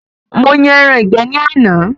Mo yan ẹran ìgbẹ́ ní àná